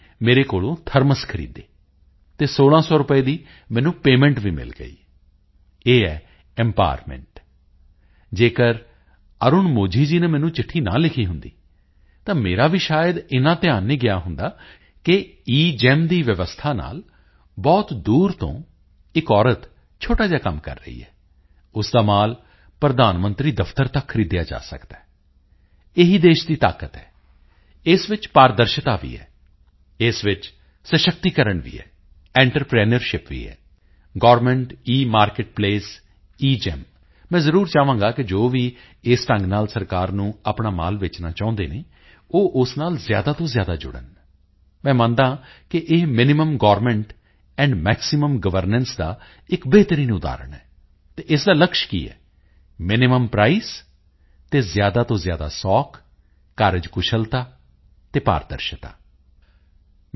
ਨੇ ਮੇਰੇ ਕੋਲੋਂ ਥਰਮਸ ਖਰੀਦੇ ਅਤੇ 1600 ਰੁਪਏ ਦੀ ਮੈਨੂੰ ਪੇਮੈਂਟ ਵੀ ਮਿਲ ਗਈ ਇਹ ਹੈ ਇੰਪਾਵਰਮੈਂਟ ਇਹ ਹੈ ਐਂਟਰਪ੍ਰੀਨਿਓਰਸ਼ਿਪ ਜੇਕਰ ਅਰੁਣ ਮੋਝੀ ਜੀ ਨੇ ਮੈਨੂੰ ਚਿੱਠੀ ਨਾ ਲਿਖੀ ਹੁੰਦੀ ਤਾਂ ਮੇਰਾ ਵੀ ਸ਼ਾਇਦ ਏਨਾ ਧਿਆਨ ਨਹੀਂ ਗਿਆ ਹੁੰਦਾ ਕਿ ਏਗੇਮ ਦੀ ਵਿਵਸਥਾ ਨਾਲ ਬਹੁਤ ਦੂਰ ਤੋਂ ਇੱਕ ਔਰਤ ਛੋਟਾ ਜਿਹਾ ਕੰਮ ਕਰ ਰਹੀ ਹੈ ਉਸ ਦਾ ਮਾਲ ਪ੍ਰਧਾਨ ਮੰਤਰੀ ਦਫ਼ਤਰ ਤੱਕ ਖਰੀਦਿਆ ਜਾ ਸਕਦਾ ਹੈ ਇਹੀ ਦੇਸ਼ ਦੀ ਤਾਕਤ ਹੈਇਸ ਵਿੱਚ ਪਾਰਦਰਸ਼ਤਾ ਵੀ ਹੈ ਇਸ ਵਿੱਚ ਸਸ਼ਕਤੀਕਰਨ ਵੀ ਹੈ ਐਂਟਰਪ੍ਰੀਨਿਓਰਸ਼ਿਪ ਵੀ ਹੈ ਗਵਰਨਮੈਂਟ ਇਮਾਰਕੇਟਪਲੇਸ ਜੀਈਐਮ ਮੈਂ ਜ਼ਰੂਰ ਚਾਹਾਂਗਾ ਕਿ ਜੋ ਵੀ ਇਸ ਢੰਗ ਨਾਲ ਸਰਕਾਰ ਨੂੰ ਆਪਣਾ ਮਾਲ ਵੇਚਣਾ ਚਾਹੁੰਦੇ ਹਨ ਉਹ ਉਸ ਨਾਲ ਜ਼ਿਆਦਾ ਤੋਂ ਜ਼ਿਆਦਾ ਜੁੜਨ ਮੈਂ ਮੰਨਦਾ ਹਾਂ ਕਿ ਇਹ minimum government and maximum governance ਦਾ ਇੱਕ ਬਿਹਤਰੀਨ ਉਦਾਹਰਣ ਹੈ ਅਤੇ ਇਸ ਦਾ ਲਕਸ਼ ਕੀ ਹੈ ਮਿਨੀਮਮ ਪ੍ਰਾਈਸ ਅਤੇ ਜ਼ਿਆਦਾ ਤੋਂ ਜ਼ਿਆਦਾ ਸੌਖ ਕਾਰਜਕੁਸ਼ਲਤਾ ਅਤੇ ਪਾਰਦਰਸ਼ਤਾ maximum ease efficiency and transparency